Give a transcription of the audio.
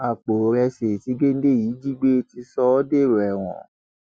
àpò ìrẹsì tí géńdé yìí jí gbé ti sọ ọ dèrò ẹwọn